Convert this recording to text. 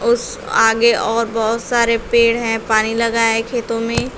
उस आगे और बहोत सारे पेड़ हैं पानी लगा है खेतों में।